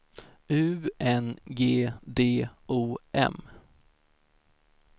U N G D O M